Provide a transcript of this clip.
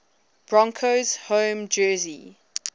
broncos home jersey